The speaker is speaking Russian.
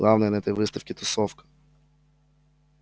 главное на этой выставке тусовка